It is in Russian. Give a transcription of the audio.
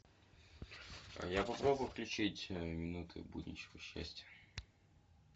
я попробую включить минуты будничного счастья